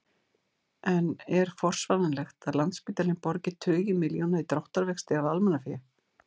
En er forsvaranlegt að Landspítalinn borgi tugi milljóna í dráttarvexti af almannafé?